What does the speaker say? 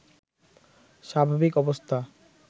স্বাভাবিক অবস্থা